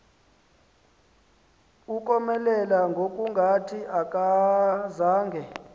ukomelela ngokungathi akazange